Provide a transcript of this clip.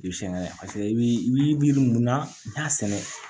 I bi sɛgɛn i bi yiri mun na i b'a sɛnɛ